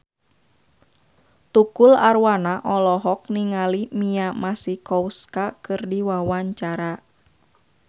Tukul Arwana olohok ningali Mia Masikowska keur diwawancara